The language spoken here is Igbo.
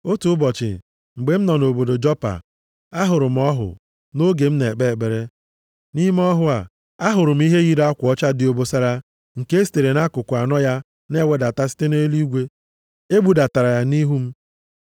“Otu ụbọchị, mgbe m nọ nʼobodo Jopa, ahụrụ m ọhụ nʼoge m na-ekpe ekpere. Nʼime ọhụ a, ahụrụ m ihe yiri akwa ọcha dị obosara nke e sitere nʼakụkụ anọ ya na-ewedata site nʼeluigwe. E budatara ya nʼihu m.